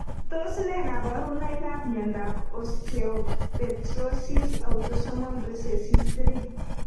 Tos ne kaborunoikab miondop osteopetrosis autosomal recessive 3?